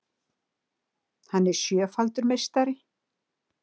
Hann er sjöfaldur meistari